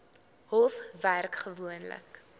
hof werk gewoonlik